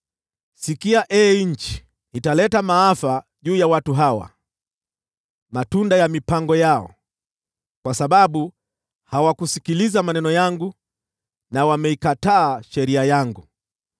Sikia, ee nchi: Ninaleta maafa juu ya watu hawa, matunda ya mipango yao, kwa sababu hawakusikiliza maneno yangu na wameikataa sheria yangu.